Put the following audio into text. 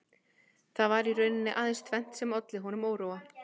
Það var í rauninni aðeins tvennt sem olli honum óróa